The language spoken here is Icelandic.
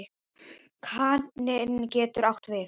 Kaninn getur átt við